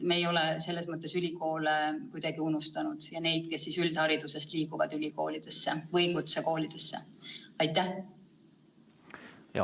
Me ei ole ülikoole kuidagi unustanud, samuti õpilasi, kes üldharidusest kutsekooli lähevad.